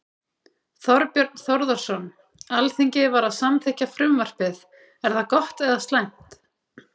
Þorbjörn Þórðarson: Alþingi var að samþykkja frumvarpið, er það gott eða slæmt?